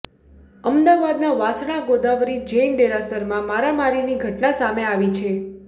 અમદાવાદના વાસણા ગોદાવરી જૈન દેરાસરમાં મારામારીની ઘટના સામે આવી છે